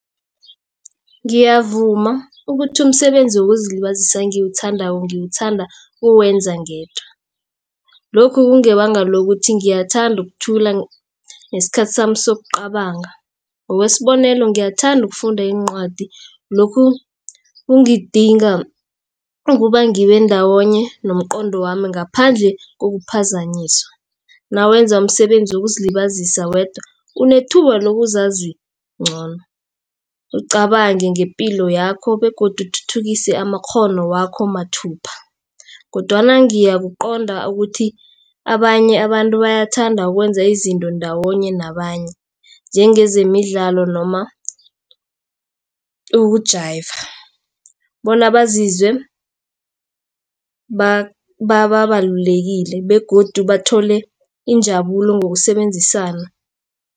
Ngiyavuma ukuthi umsebenzi wokuzilibazisa engiwuthandako ngiwuthanda ukuwenza ngedwa. Lokhu kungebanga lokuthi ngiyathanda ukuthula ngesikhathi sami sokucabanga ngokwesibonelo, ngiyathanda ukufunda iincwadi lokhu kungidinga ukuba ngibe ndawonye nomqondo wami ngaphandle kokuphazanyiswa. Nawenza umsebenzi wokuzilibazisa wedwa unethuba lokuzazi ngcono ucabange ngepilo yakho begodu uthuthukise amakghono wakho mathupha. Kodwana ngiyakuqonda ukuthi abanye abantu bayathanda ukwenza izinto ndawonye nabanye. Njengezemidlalo noma ukujayiva bona bazizwe babalulekile begodu bathole injabulo ngokusebenzisana.